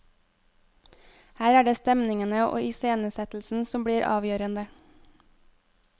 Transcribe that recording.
Her er det stemningene og iscenesettelsen som blir avgjørende.